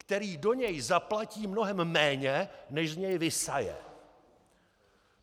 Který do něj zaplatí mnohem méně, než z něj vysaje.